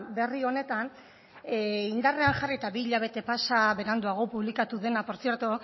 berri honetan indarrean jarri eta bi hilabete pasa beranduago publikatu dena por cierto